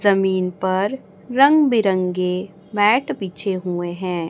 जमीन पर रंग बिरंगे मैट बिछे हुए हैं।